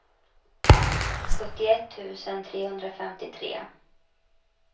sjuttioett tusen trehundrafemtiotre